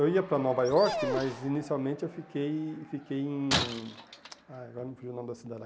Eu ia para Nova Iorque, mas inicialmente eu fiquei fiquei em... Ah, agora me fugiu o nome da cidade.